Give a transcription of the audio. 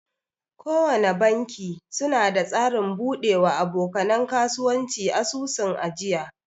Kowana banki suna da tsarin bude wa aboka nan kasuwanci asusun ajiya.